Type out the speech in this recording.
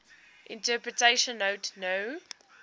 interpretation note no